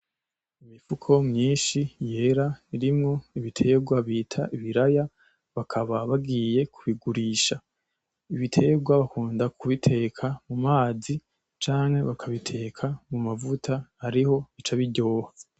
Imifuko myinshi yera irimwo ibiterwa bita ibiraya bakaba bagiye kubigurisha. Ibitegwa bakunda kubiteka mu mazi canke bakabiteka mu mavuta ariho bica biryoha.